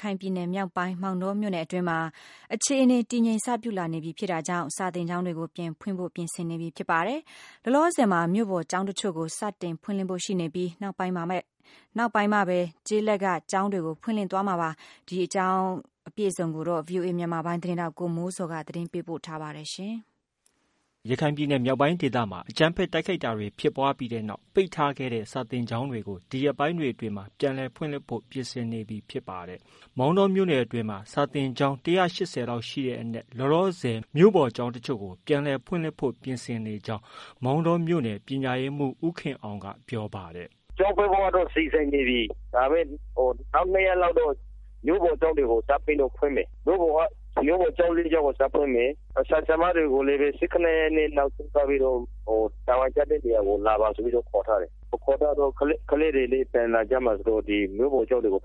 ခိုင်ပြည်နယ်မြောက်ပိုင်း မောင်တောမြို့နယ်အတွင်းမှာ အခြေအနေ တည်ငြိမ်စပြုလာပြီဖြစ်တာကြောင့် စာသင်ကျောင်းတွေကို ပြန်ဖွင့်ဖို့ ပြင်ဆင်နေပြီဖြစ်ပါတယ်။ လောလောဆည်မှာ မြို့ပေါ်ကျောင်းတချို့ကို စတင်ဖွင့်လှစ်ဖို့ ရှိနေပြီး နောက်ပိုင်းမှာပါ ကျေးလက်က ကျောင်းတွေဖွင့်လှစ်သွားမှာဖြစ်ပါတယ်။ ဒီသတင်းကို ဗွီအိုအေမြန်မာပိုင်းရဲ့သတင်းထောက် ကိုမိုးဇော်က တင်ပြထားပါတယ်။ ရခိုင်ပြည်နယ်မြောက်ပိုင်းဒေသမှာ အကြမ်းဖက်တိုက်ခိုက်တာတွေဖြစ်ပွားပြီးတဲ့နောက် ပိတ်ထားခဲ့တဲ့ စာသင်ကျောင်းတွေကို ဒီရက်ပိုင်းတွေအတွင်း ပြန်လည်ဖွင့်လှစ်ဖို့ ပြင်ဆင်နေပြီဖြစ်ပါတယ်။ မောင်တောမြို့နယ်အတွင်းမှာ စာသင်ကျောင်း ၁၈၀လောက်ရှိတဲ့အနက်မှာ လောလောဆည် မြို့ပေါ်ကျောင်း တချို့ကို ပြန်ဖွင့်လှစ်ဖို့ ပြင်ဆင်နေကြောင်း မောင်တော မြို့နယ် ပညာရေးမှူး ဦးခင်အောင်က ပြောပါတယ်။ “ကျောင်းဖွင့်ဖို့တော့ စီစဉ်နေပြီ။ နောက်၂ရက်တော့ မြို့ပေါ်ကျောင်းတွေကို စပြီးတော့ ဖွင့်မယ်။ မြို့ပေါ်ကျောင်း ၄ကျောင်းကို စဖွင့်မယ်။ ဆရာ၊ဆရာမတွေကိုလည်းပဲ ၁၇ရက်နေ့ နောက်ဆုံးထားပြီးတော့ တာဝန်ကျတဲ့နေရာကို လာပါဆိုပြီးတော့ ခေါ်ထားတယ်။ ခေါ်ထားတော့ ကလေးတွေလည်း ပြန်လာကြမှာဆိုတော့ ပ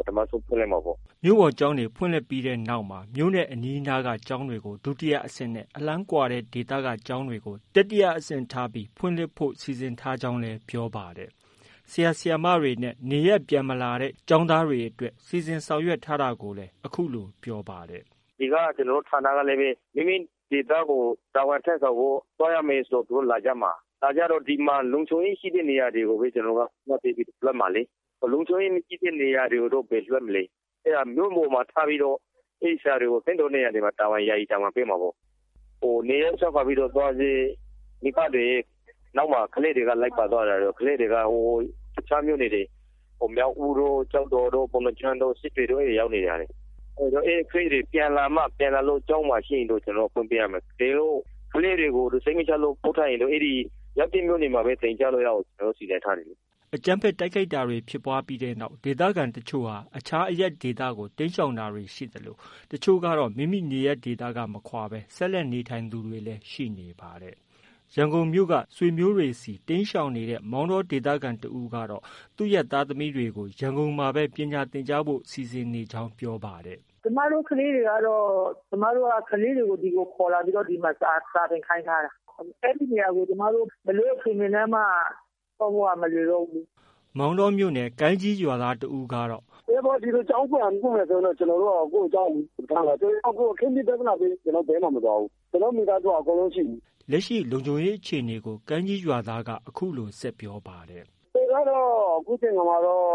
ထမဆုံးဖွင့်လိုက်မှာပေါ့။ ” မြို့ပေါ်ကျောင်းတွေဖွင့်ပြီးတဲ့နောက်မှာ မြို့နဲ့ အနီးအနားက ကျောင်းတွေကို ဒုတိယအဆင့်နဲ့ အလှမ်းကွာတဲ့ဒေသက ကျောင်းတွေကို တတိယအဆင့်ထား ဖွင့်လှစ်ဖို့ စီစဉ်ထားကြောင်းလည်း ပြောပါတယ်။ ဆရာ၊ဆရာမတွေနဲ့ နေရပ်မပြန်လာတဲ့ ကျောင်းသားတွေအတွက် စီစဉ်ဆောင်ထား တာကိုလည်း အခုလို ပြောပါတယ်။ “ ကျနေ်ာတို့ ဌာနကလည်း မိမိဒေသကို တာဝန်ထမ်းဆောင်ဖို့ သွားရမယ်ဆို သူတို့ လာကြမှာ။ လာကြတော့ လုံခြုံရေးရှိတဲ့နေရာတွေကိုပဲ ကျနော်တို့က ဦးစားပေးပြီးတော့ လွှတ်မှာလေ။ လုံခြုံရေးမရှိတဲ့နေရာတွေတော့ ဘယ်လွှတ်မလဲ။ အဲတော့ မြို့ပေါ်မှာ ထားပြီးတော့ အဲဒီဆရာတွေကို သင့်တော်တဲ့ နေရာတွေမှာ ယာယီတာဝန်ပေးမှာပေါ့။ နေရပ်စွန့်ခွာသွားတဲ့ မိဘတွေရဲ့နောက်မှာ လိုက်ပါသွားတော့ကလေးတွေက တခြားမြို့နယ်တွေ မြောက်ဦးတို့၊ ကျောက်တော်တို့၊ ပုဏ္ဍားကျွန်းတို့၊ စစ်တွေတို့ရောက်နေတဲ့ ဟာတွေ အဲဒီကလေးတွေပြန်လာမှ ပြန်လာလို့ ကျောင်းမှာရှိရင်တော့ ကျနော်တို့က ဖွင့်ပေးရမှာ။ တကယ်လို့ ကလေးတွေကို စိတ်မချလို့ ပို့ထားတယ်ဆိုရင်တော့ ရောက်တဲ့မြို့မှာပဲ သင်ကြားလို့ ရအောင်ကျနော်တို့ စီစဉ်ထားတယ်လေ။” အကြမ်းဖက် တိုက်ခိုက်တာတွေ ဖြစ်ပွားပြီးတဲ့နောက်မှာ ဒေသခံတချို့ဟာ အခြားအရပ်ဒေသကို တိမ်းရှောင်သူတွေ ရှိသလို တချို့ကတော့ မိမိနေရပ်က မခွာဘဲ ဆက်လက်နေထိုင်သူတွေလည်းရှိနေတာပါ။ ရန်ကုန်မြို့က ဆွေမျိုးတွေဆီ တိမ်းရှောင်နေတဲ့ မောင်တောမြို့ခံတဦးကတော့ သူ့ သားသမီးတွေကို ရန်ကုန်မှာပဲ ပညာသင်ကြားဖု့ိစိစဉ်နေကြောင်းပြောပါတယ်။ “ ကျမတို့ကတော့ ကျမတို့ကလေးတွေကို ဒီကိုခေါ်လာပြီး ဒီမှာ စာသင်ခိုင်းထားတာ။ အဲဒီနေရာကို ဘယ်လိုအခြေအနေနဲ့မှ သွားဖို့က မလွယ်တော့ဘူးလေ။ ” မောင်တောမြို့နယ် ကိုင်းကြီးရွာသားတဦးက “ ကျောင်းပြန်ဖွင့်မယ်ဆိုလို့ကတော့ ကျနော်တို့က ကိုယ့်ကျောင်းကို ထားမှာ။ အခင်းဖြစ် ပြဿနာဖြစ်ပြီး ကျနော်တို့ ဘယ်မှ မသွားဘူး။ ကျနော်တို့ မိသားစုက အကုန်လုံး ရှိနေတာ။” လက်ရှိ လုံခြုံရေးအခြေအနေကို ကိုင်းကြီးရွာသားက အခုလို ဆက်ပြောပါတယ်။ “ အခြေအနေကတော့ အခုချိန်ခါမှာတော့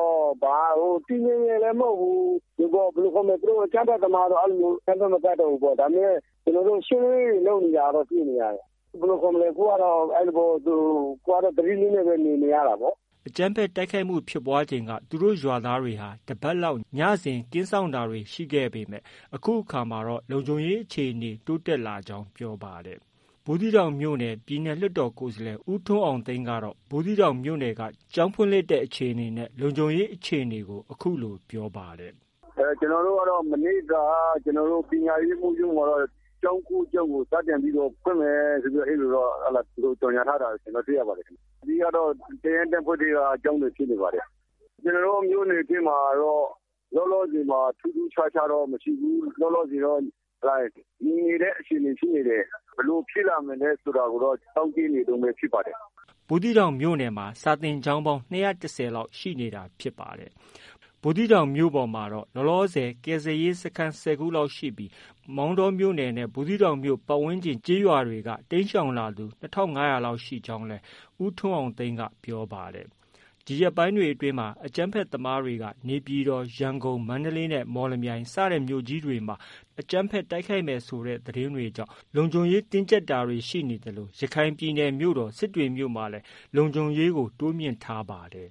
တည်ငြိမ်တယ်လည်း မဟုတ်ဘူး။ အကြမ်းဖက်သမားကတော့ အကြမ်းဖက် မတိုက်တောဘူးပေါ့။ ဒါပေမဲ့ ရှင်းလင်းရေးတွေ လုပ်နေတာတော့ တွေ့နေရတယ်။ အခုကတော့ သတိနဲ့ပဲ နေနေရတာပေါ့။ ” အကြမ်းဖက်တိုက်ခိုက်မှုဖြစ်ပွားချိန်က သူတို့ရွာသားတွေဟာ တပတ်လောက် ညစဉ် ကင်းစောင့်တာတွေ ရှိခဲ့ပေမဲ့အခုအခါမှာတော့ လုံခြုံရေးအခြေအနေ တိုးတက် လာကြောင်း ပြောပါတယ်။ ဘူးသီးတောင်မြို့က ပြည်နယ်လွှတ်တော်ကိုယ်စားလှယ် ဦးထွန်းအောင်သိန်းကတော့ ဘူးသီးတောင်မြို့နယ်အတွင်း ကျောင်းဖွင့်လှစ်တဲ့အခြေအနေနဲ့ လုံခြုံရေးအခြေအနေကို အခုလို ပြောပါတယ်။ “ ကျနော်တို့ကတော့ မနေ့က ပညာရေးမှုးရုံးမှာတော့ ကျောင်း၉ကျောင်းကို စတင်ပြီးတော့ ဖွင့်မယ်လို့ အဲလိုတော့ ကြေညာထားတာ တွေ့ပါတယ်။ အဓိကကတော့ တပ်ရင်း တပ်ဖွဲ့ထဲက ကျောင်းတွေဖြစ်နေပါတယ်။ ကျနော်တို့ မြို့နယ်မှာတော့ လောလောဆည်မှာ ထူးထူးခြားခြားတော့ မရှိဘူး။ ငြိမ်နေတဲ့အခြေအနေရှိနေတယ်။ ဘယ်လိုဖြစ်လာမလဲဆိုတာတော့ စောင့်ကြည့်ရမယ့်အခြေအနေဖြစ်ပါတယ်။ ” ဘူးသီးတောင်မြို့နယ်မှာ စာသင်ကျောင်း ၂၁၀လောက်ရှိနေတာဖြစ်ပါတယ်။ ဘူးသီးတောင်မြို့ပေါ်မှာ ကယ်ဆယ်ရေးစခန်း ၁၀ခုလောက်ရှိပြီး မောင်တောနဲ့ ပတ်ဝန်းကျင်ကျေးရွာတွေက တိမ်းရှောင်လာသူ ၂၅၀၀လောက်ရှိကြောင်းလည်း ပြောပါတယ်။ ဒီရက်ပိုင်းတွေအတွင်းမှာ အကြမ်းဖက်သမားတွေက နေပြည်တော်၊ ရန်ကုန်၊ မန္တလေးနဲ့ မော်လမြိုင်စတဲ့ မြို့ကြီးတွေမှာ အကြမ်းဖက်တိုက်ခိုက်မယ်ဆိုတဲ့သတင်းတွေကြောင့် လုံခြုံရေးတင်းကျပ်တာတွေ ရှိနေသလို ရခိုင်ပြည်နယ်မြို့တော် စစ်တွေမြို့မှာလည်း လုံခြုံရေးတိုးမြှင့်ထားရပါတယ်။